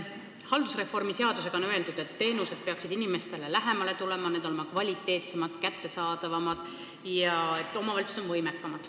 Haldusreformi seadusega on öeldud, et teenused peaksid inimestele lähemale tulema, olema kvaliteetsemad ja kättesaadavamad ning omavalitsused olema võimekamad.